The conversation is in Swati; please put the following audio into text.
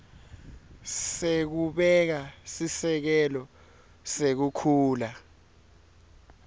sekubeka sisekelo sekukhula